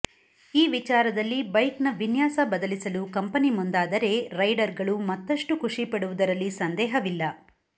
ಈ ವಿಚಾರದಲ್ಲಿ ಬೈಕ್ನ ವಿನ್ಯಾಸ ಬದಲಿಸಲು ಕಂಪೆನಿ ಮುಂದಾದರೆ ರೈಡರ್ಗಳು ಮತ್ತಷ್ಟು ಖುಷಿಪಡುವುದರಲ್ಲಿ ಸಂದೇಹವಿಲ್ಲ